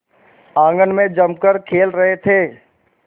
आंगन में जमकर खेल रहे थे